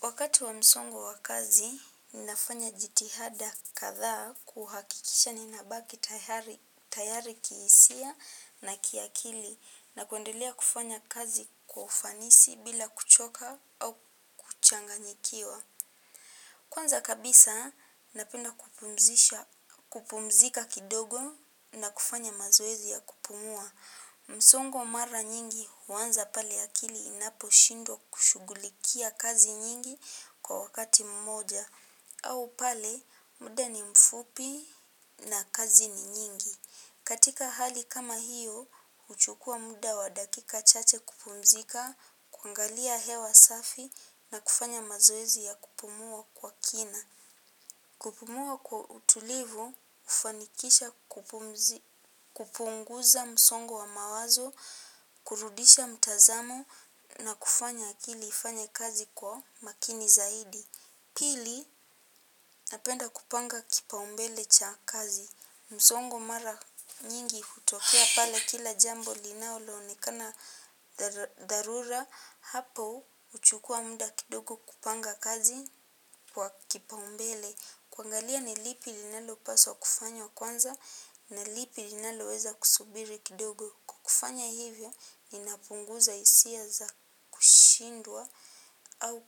Wakati wa msongo wakazi, ninafanya jitihada kadha kuhakikisha ninabaki tayari kiisia na kiakili na kuendelea kufanya kazi kwa ufanisi bila kuchoka au kuchanganyikiwa. Kwanza kabisa, napenda kupumzika kidogo na kufanya mazoezi ya kupumua. Msongo mara nyingi huanza pale akili inapo shindwa kushugulikia kazi nyingi kwa wakati mmoja. Au pale muda ni mfupi na kazi ni nyingi. Katika hali kama hiyo, uchukua muda wa dakika chache kupumzika, kuangalia hewa safi na kufanya mazoezi ya kupumua kwa kina. Kupumua kwa utulivu, ufanikisha kupunguza msongo wa mawazo, kurudisha mtazamo na kufanya akili ifanye kazi kwa makini zaidi. Pili, napenda kupanga kipa umbele cha kazi. Msongo mara nyingi hutokea pale kila jambo linaloonekana dharura. Hapo, uchukua muda kidogo kupanga kazi kwa kipa umbele. Kuangalia ni lipi linalo paswa kufanywa kwanza na lipi linalo weza kusubiri kidogo. Kwa kufanya hivyo ni napunguza hisia za kushindwa au